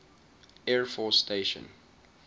air force station